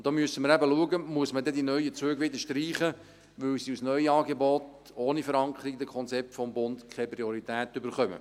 Und da müssen wir eben schauen, ob wir die neuen Züge dann wieder streichen müssen, weil sie als Neuangebot ohne Verankerung in den Konzepten des Bundes keine Priorität erhalten.